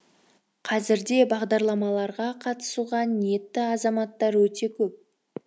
қазірде бағдарламаларға қатысуға ниетті азаматтар өте көп